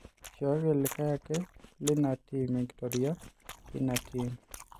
Esihooki likae ake leina tim enkitoria eina tim